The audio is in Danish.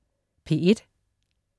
P1: